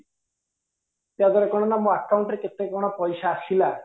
ତା ଦ୍ୱାରା କଣ ନା ମୋ account ରେ କେତେ କଣ ପଇସା ଆସିଲା